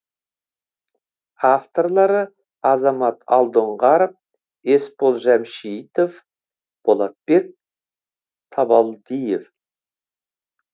авторлары азамат алдоңғаров есбол жәмшитов болотбек табалдиев